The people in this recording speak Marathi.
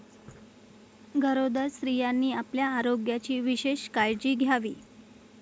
गरोदर स्त्रियांनी आपल्या आरोग्याची विशेष काळजी घ्यावी.